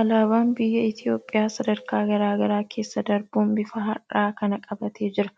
Alaabaan biyya Itoophiyaa sadarkaa garaa garaa keessa darbuun bifa har'aa kana qabaatee jira.